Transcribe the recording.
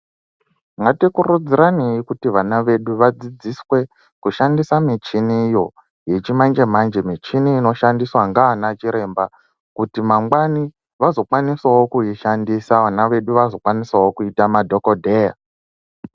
Ngatikurudziranei kuti vana vedu vadzidziswe kushandisa michiniyo yechimanje-manje michini inoshandiswa ngaana chiremba kuti mangwani vazokwanisawo kuishandisa vana vedu vazokwanisawo kuita madhogodheya.